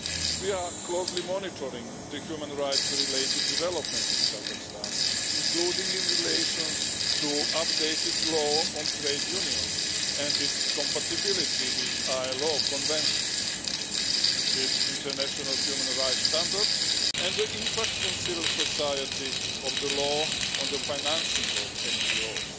We are closely monitoring the human rights related developments in Kazakhstan, including in relation to the updated law on trade unions and its compatibility with ILO conventions, with international human rights standards and the impact on civil society of the law on the financing of NGOs.